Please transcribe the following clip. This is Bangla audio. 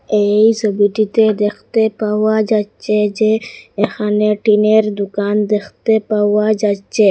এই সোবিটিতে দেখতে পাওয়া যাচ্ছে যে এখানে টিনের দুকান দেখতে পাওয়া যাচ্চে।